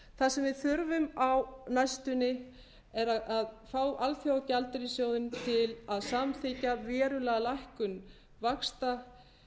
sem við þurfum á næstunni er að fá alþjóðagjaldeyrissjóðinn til að samþykkja verulega lækkun vaxta